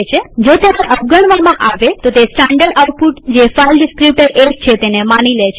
જો તેને અવગણવામાં આવે તો તે સ્ટાનડર્ડ આઉટપુટ જે ફાઈલ ડીસ્ક્રીપ્ટર ૧ છે તેને માની લે છે